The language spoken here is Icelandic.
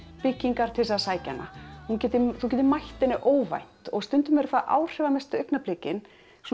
byggingar til þess að sækja hana þú getir þú getir mætt henni óvænt og stundum eru það áhrifamestu augnablikin